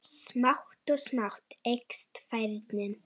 Smátt og smátt eykst færnin.